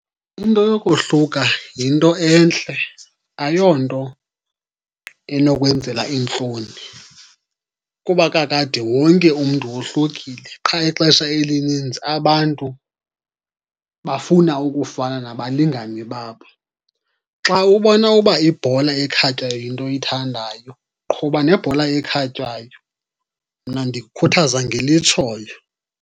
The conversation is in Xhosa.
Into yokohluka yinto entle, ayonto enokwenzela iintloni. Kuba kakade wonke umntu wohlukile, qha ixesha elinintsi abantu bafuna ukufana nabalingani babo. Xa ubona uba ibhola ekhatywayo yinto oyithandayo, qhuba nebhola ekhatywayo. Mna ndikukhuthaza ngelitshoyo.